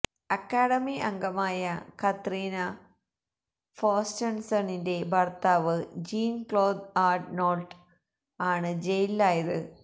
academy അംഗമായ Katarina ഫ്രോസ്റ്റന്സണിന്റെ ഭര്ത്താവ് ജീന് ക്ലോദ് ആര്നോള്ട്ട് ആണ് ജയിലിലായത്